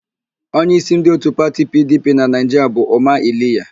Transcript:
Onyeísí ndị òtù pati PIiDIiPIi na Naịjiria bụ Ụma Iliya.